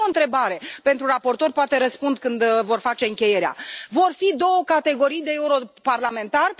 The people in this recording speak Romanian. Și mai am o întrebare pentru raportor, poate răspund când vor face încheierea vor exista două categorii de europarlamentari?